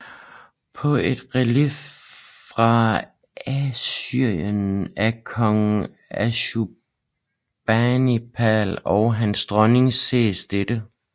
På et relief fra Assyrien af kong Assurbanipal og hans dronning ses dette